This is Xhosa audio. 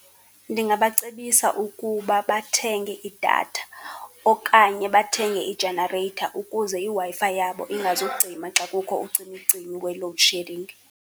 Ndingabacebisa ukuba bathenge idatha okanye bathenge ijenareyitha ukuze iWi-Fi yabo ingazucima xa kukho ucimicimi we-load shedding.